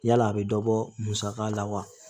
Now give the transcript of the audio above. Yala a bɛ dɔ bɔ musaka la wa